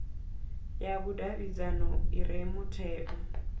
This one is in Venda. ya vhudavhidzano i re mutheo